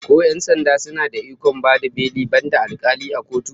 Ko 'yan sanda suna da ikon bayar da beli, banda alkali a kotu?